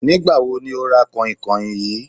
Nígbà wo ni o ra kànhìnkànhìn yìí?